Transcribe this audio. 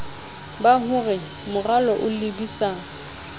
ba hore moralo o lebisa